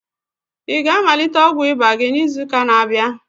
Ị ga-amalite ọgwụ ịba gị n'izu ụka na-abịa?